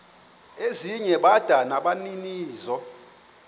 ezinye bada nabaninizo